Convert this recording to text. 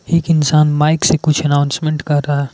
एक इंसान माइक से कुछ अनाउंसमेंट कर रहा--